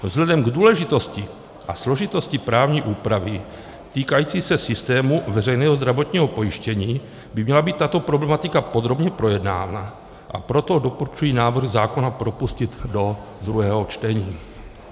Vzhledem k důležitosti a složitosti právní úpravy týkající se systému veřejného zdravotního pojištění by měla být tato problematika podrobně projednána, a proto doporučuji návrh zákona propustit do druhého čtení.